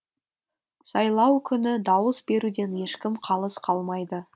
сайлау күні дауыс беруден ешкім қалыс қалмайды